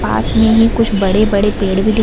पास में ही कुछ बड़े-बड़े पेड़ भी दिख --